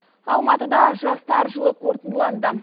алматыда жастар жылы қорытындыланды